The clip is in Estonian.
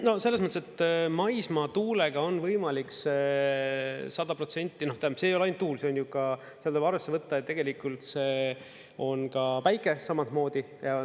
No selles mõttes, et maismaatuulega on võimalik see 100%, tähendab, see ei ole ainult tuul, see on ju ka, seal tuleb arvesse võtta, et tegelikult see on ka päike samamoodi.